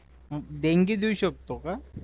देणगी देऊ शकतो का